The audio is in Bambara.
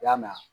I y'a mɛn